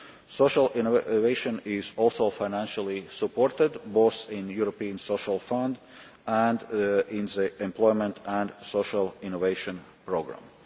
Social innovation is also financially supported both in the European Social Fund and in the employment and social innovation programme.